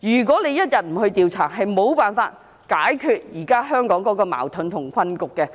不進行調查，是無法解決現時香港的矛盾和困局的。